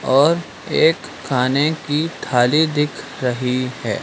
और एक खाने की थाली दिख रही हैं।